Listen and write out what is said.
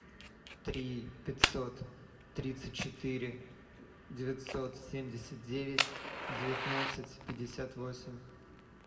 три пятьсот тридцать четыре девятьсот семьдесят девять девятнадцать пятьдесят восемь